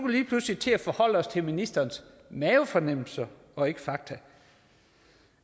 vi lige pludselig til at forholde os til ministerens mavefornemmelser og ikke fakta